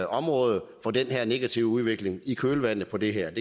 område for den her negative udvikling i kølvandet på det her